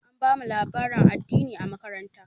An bamu labarin addini a makaranta.